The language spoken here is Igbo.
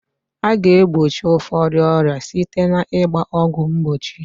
A ga egbochi ụfọdụ ọrịa site na ịgba ọgwụ mgbochi